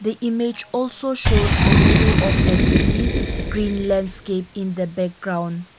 image also shows a view of a hilly green landscape in the background.